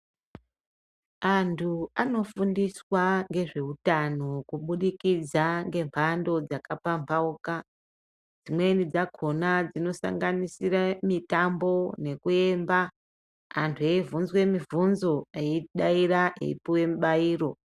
Antu anofundiswa ngezveutano kubudikidza ngemhando dzakambambauka dzimweni dzakona dzinosanganisira mutambo nekuwmba antu ebvunzwe mubvunzo eidaira eipuwe mubairo